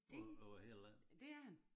Det dét er han